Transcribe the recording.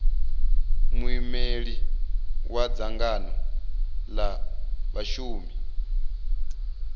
muimeli wa dzangano la vhashumi